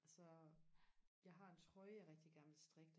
altså jeg har en trøje jeg rigtig gerne vil strikke